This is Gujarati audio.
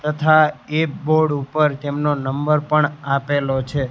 તથા એ બોર્ડ ઉપર તેમનો નંબર પણ આપેલો છે.